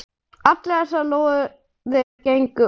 Allar þessar lóðir gengu út.